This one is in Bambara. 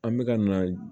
An bɛ ka na